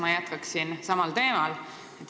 Ma jätkan samal teemal.